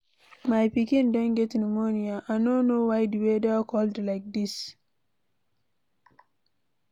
My pikin don get pneumonia. I no know why the weather cold like dis